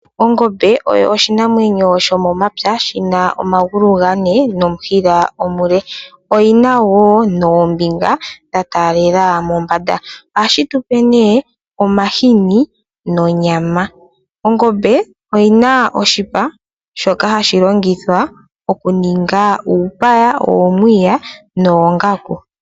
Ongombe oyo oshinamwenyo sho momapya, shina omagulu gane nomushila omule, oyina wo oombinga dha talela mombanda, ohayi tupe ne omashini nonyama. Ongombe oyina oshipa shoka hashi longithwa oku ninga uupaya, uumwiya noongaku.